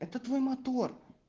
это твой мотор